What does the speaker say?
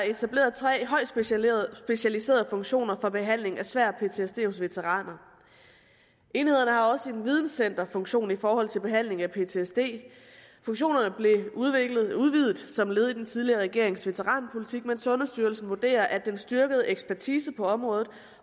etableret tre højt specialiserede funktioner for behandling af svær ptsd hos veteraner enhederne har også en videncenterfunktion i forhold til behandling af ptsd funktionerne blev udvidet som led i den tidligere regerings veteranpolitik men sundhedsstyrelsen vurderer at den styrkede ekspertise på området